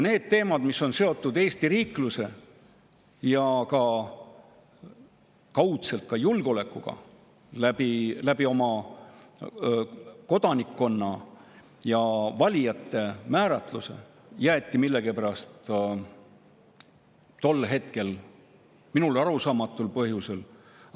Need teemad, mis on seotud Eesti riikluse ja kaudselt julgeolekuga kodanikkonna ja valijate määratluse kaudu, jäeti minule arusaamatul põhjusel tol hetkel millegipärast.